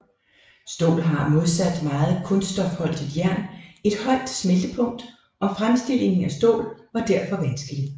Stål har modsat meget kulstofholdigt jern et højt smeltepunkt og fremstillingen af stål var derfor vanskelig